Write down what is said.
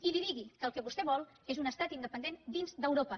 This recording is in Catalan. i li digui que el que vostè vol és un estat independent dins d’europa